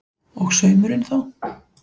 Og saumurinn þá?